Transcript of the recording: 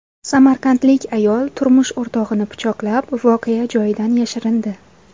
Samarqandlik ayol turmush o‘rtog‘ini pichoqlab, voqea joyidan yashirindi.